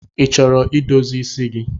Ị chọrọ idozi isi gi?